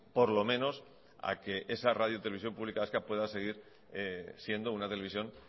por lo menos a que esa radio y televisión pública vasca pueda seguir siendo una televisión